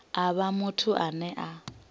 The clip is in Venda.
a vhe muthu ane a